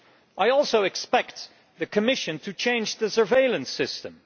I also expect the Commission to change the surveillance system.